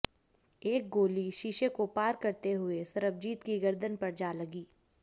एक गोली शीशे को पार करते हुए सरबजीत की गर्दन पर जा लगी